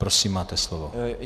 Prosím, máte slovo.